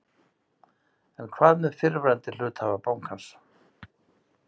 En hvað með fyrrverandi hluthafa bankans?